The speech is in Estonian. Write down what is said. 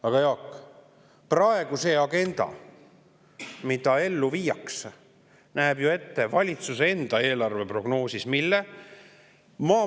Aga Jaak, mida praegu selle agenda puhul, mida ellu viiakse, valitsuse enda eelarveprognoos ette näeb?